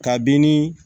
Kabini